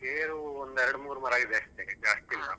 ಗೇರು ಒಂದು ಎರಡ್ ಮೂರ್ ಮರ ಇದೆ ಅಷ್ಟೇ ಜಾಸ್ತಿ ಇಲ್ಲ.